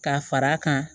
Ka fara a kan